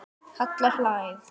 Halla hlær.